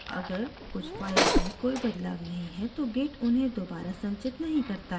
अगर कुछ files में कोई बदलाव नहीं है तो git उन्हें दोबारा संचित नहीं करता है